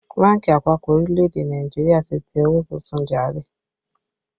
Bánkì àpapọ̀ orílẹ̀ èdè Nàìjíríà ti tẹ owó tuntun jàre